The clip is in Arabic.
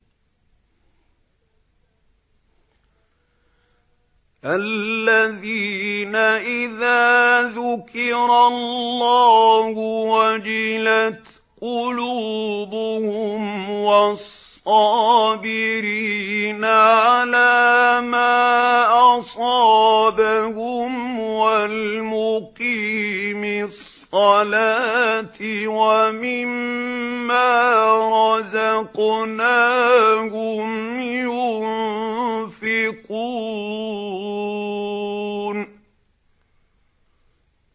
الَّذِينَ إِذَا ذُكِرَ اللَّهُ وَجِلَتْ قُلُوبُهُمْ وَالصَّابِرِينَ عَلَىٰ مَا أَصَابَهُمْ وَالْمُقِيمِي الصَّلَاةِ وَمِمَّا رَزَقْنَاهُمْ يُنفِقُونَ